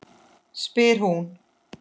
spyr hún.